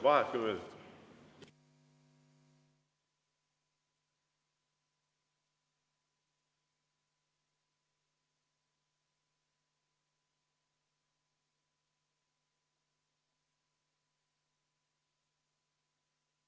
Vaheaeg kümme minutit.